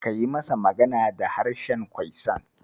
Ka yi masa magana da harshen Kwaisan.